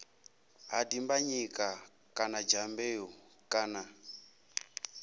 ha dimbanyika kana dyambeu kana